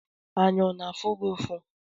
Anya ọ na-afụ gị ụfụ?